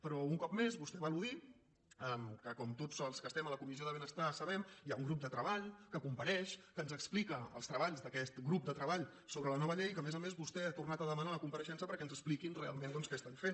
però un cop més vostè va al·ludir al fet que com tots els que estem a la comissió de benestar sabem hi ha un grup de treball que compareix que ens explica els treballs d’aquest grup de treball sobre la nova llei i que a més a més vostè n’ha tornat a demanar la compareixença perquè ens expliquin realment què fan